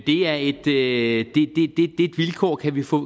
det er et vilkår kan vi få